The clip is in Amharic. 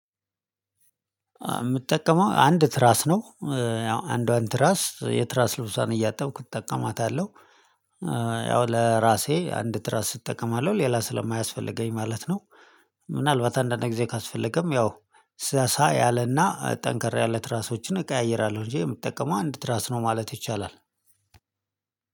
የምጠቀመው አንድ ትራስ ነው ያው አንዷን ትራስ የትራስ ልብሷን እያጠብኩ እጠቀማታለሁ። ያው ለራሴ አንድ ትራስ እጠቀማለሁ ሌላ ስለማያስፈልገኝ ማለት ነው። ምናልባት አንዳንድ ጊዜ ካስፈለገም ያው ሳሳ ያለና ጠንካራ ያለ ትራሶችን እቀያይራለሁ እንጂ የምጠቀመው አንድ ትራስ ነው ማለት ይቻላል።